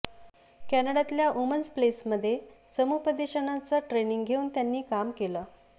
कॅनडातल्या women's प्लेसमध्ये समुपदेशनाचं training घेऊन त्यांनी काम केलं